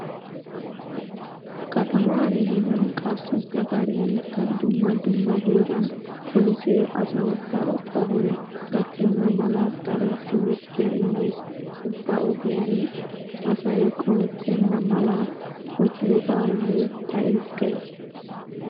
Kataman gidin qassi gaxariyankka dumma dumma heeran polisee asawu daro qohoy gakkenna mala daro timirttiya immees. Ubba ogiyan asay qohettenna mala odiyoobaa loytta ezggays.